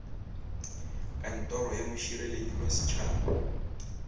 kantoro ya mošireletši wa setšhaba